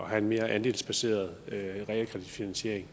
have en mere andelsbaseret realkreditfinansiering